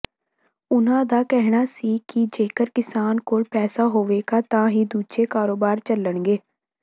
ਉਨ੍ਹਾਂ ਦਾ ਕਹਿਣਾ ਸੀ ਕਿ ਜੇਕਰ ਕਿਸਾਨ ਕੋਲ ਪੈਸਾ ਹੋਵੇਗਾ ਤਾਂ ਹੀ ਦੂਜੇ ਕਾਰੋਬਾਰ ਚੱਲਣਗੇ